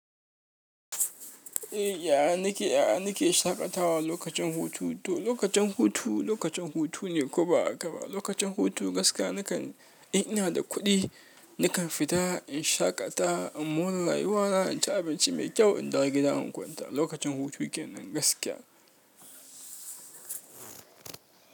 Eh, yaya nake, yaya nake shaƙatawa lokacin hutu. To lokacin hutu, lokacin hutu ne ko ba haka ba. Lokacin hutu gaskiya nakan in ina da kuɗi nakan fita in shaƙata in mora rayuwa na inci abinci mai kyau in dawo gida in kwanta. Lokacin hutu kenan gaskiya.